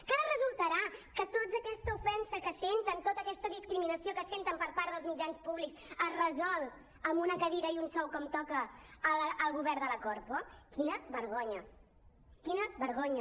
que ara resultarà que tota aquesta ofensa que senten tota aquesta discriminació que senten per part dels mitjans públics es resol amb una cadira i un sou com toca al govern de la corpo quina vergonya quina vergonya